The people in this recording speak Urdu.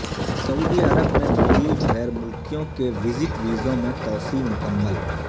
سعودی عرب میں موجود غیر ملکیوں کے وزٹ ویزوں میں توسیع مکمل